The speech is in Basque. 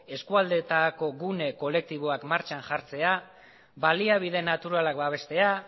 eskualdeetako gune kolektiboak martxan jartzea baliabide naturalak babestea